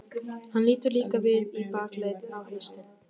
Hann lítur líka við í bakaleið, á haustin.